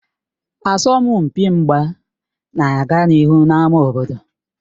Asọmpi mgba na-aga n'ihu n'ámá obodo